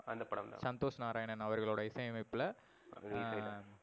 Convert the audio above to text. அந்த படம் தான். சந்தோஷ் நாராயணன் அவர்களோட இசை அமைப்புல எர்